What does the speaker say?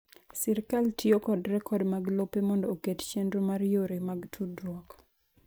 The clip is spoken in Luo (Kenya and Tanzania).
Sirkal tiyo kod rekod mag lope mondo oket chenro mar yore mag tudruok.